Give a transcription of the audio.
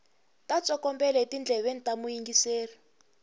ta tsokombela etindleveni ta muyingiseri